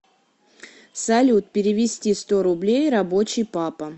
салют перевести сто рублей рабочий папа